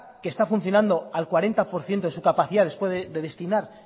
que está funcionando al cuarenta por ciento de su capacidad después de destinar